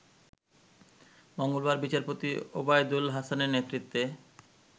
মঙ্গলবার বিচারপতি ওবায়দুল হাসানের নেতৃত্বে